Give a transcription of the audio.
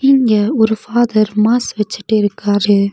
இங்க ஒரு father mass வச்சிட்டு இருக்காரு.